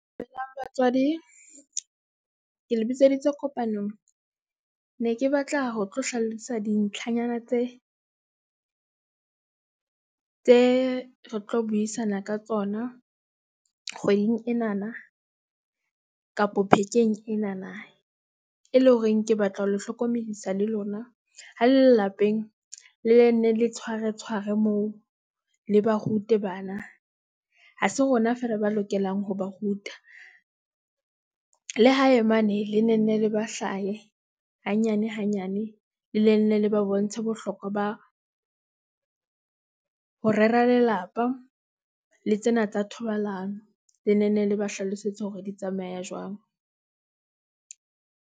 Dumelang batswadi ke le bitseditse kopanong ne ke batla ho tlo hlalosa dintlhanyana tse ding tse re tlo buisana ka tsona kgweding enana kapa enana e le horeng. Ke batla ho le hlokomedisa le lona ha le lapeng, le nne le tshware, tshware moo le ba rute bana, ha se rona feela ba lokelang ho ba ruta. Le hae mane le ne nne le ba hlahe hanyane, hanyane le ne nne le ba bontshe bohlokwa ba ho rera lelapa le tsena tsa thobalano. Le nenne le ba hlalosetsa hore di tsamaya jwang.